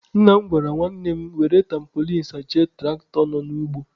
Nna m gwara nwanne m were tampolin sachie tụraktọ nọ n'ugbo.